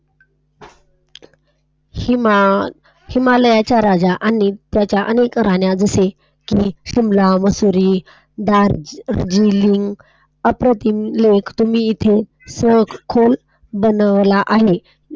हिमालयाच्या रांगा राजा आणि त्याच्या अनेक राण्या जसे शिमला, मसुरी, दार्जिलिंग, , सखोल बनवलेला आहे.